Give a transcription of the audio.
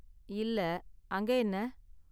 இல்ல, அங்க என்ன?